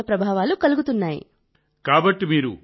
అందువల్ల మేం కనీసస్థాయిలో పురుగుమందులను ఉపయోగించాం